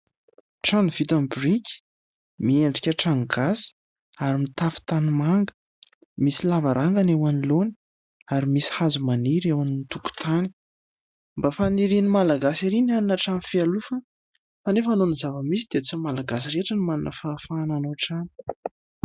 Trano vita amin'ny biriky, miendrika trano gasy ary mitafo tanimanga. Misy lavarangana eo anoloana ary misy hazo maniry eo amin'ny tokotany. Mba fanirian'ny malagasy ery ny hanana trano fialofana fa nefa noho ny zavamisy dia tsy ny malagasy rehetra no manana fahefana hanao trano.